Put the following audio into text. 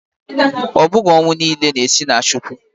Ọ bụghị ọnwụ niile na-esi na Chukwu